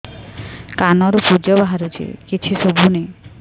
କାନରୁ ପୂଜ ବାହାରୁଛି କିଛି ଶୁଭୁନି